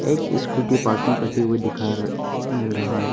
एक scooty parking करते हुए दिखा मिल रहा है।